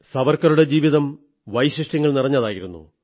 സാവർക്കറുടെ ജീവിതം വൈശിഷ്ട്യങ്ങൾ നിറഞ്ഞതായിരുന്നു